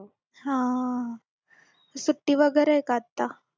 हा सुट्टी वगैरे का आता